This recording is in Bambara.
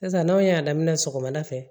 Sisan n'aw y'a daminɛ sɔgɔmada fɛ